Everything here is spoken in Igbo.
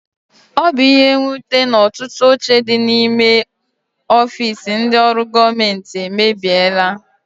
Ọ bu ihe nnwute na ọtụtụ oche dị n'ime ọfiisi ndị ọrụ gọọmenti emebiela.